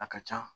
A ka ca